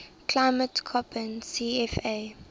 climate koppen cfa